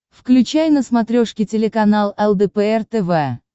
включай на смотрешке телеканал лдпр тв